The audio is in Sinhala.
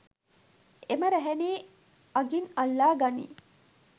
එම රැහැනේ අගින් අල්ලා ගනියි.